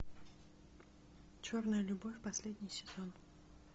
черная любовь последний сезон